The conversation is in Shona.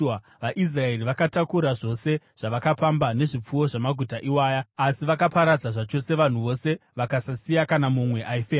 VaIsraeri vakatakura zvose zvavakapamba nezvipfuwo zvamaguta iwaya, asi vakaparadza zvachose vanhu vose, vakasasiya kana mumwe aifema.